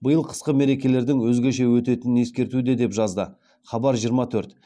биыл қысқы мерекелердің өзгеше өтетінін ескертуде деп жазады хабар жиырма төрт